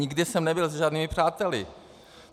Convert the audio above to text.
Nikde jsem nebyl se žádnými přáteli.